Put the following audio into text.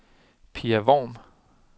Pia Worm